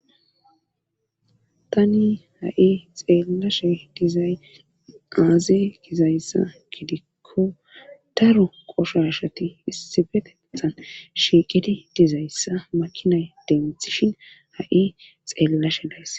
tani ha7i xeelashe dizay aaze gizayssa gidikko daro qoshashati issibetethan shiiqidi dizayssa makinay demthishin ha7i xeellashe dayss